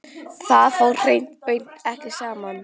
Það fór hreint og beint ekki saman.